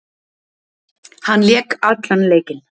Hann lék allan leikinn